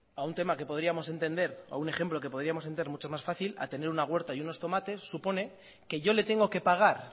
a un tema que podríamos entender un ejemplo que podríamos entender mucho más fácil a tener una huerta y unos tomates supone que yo le tengo que pagar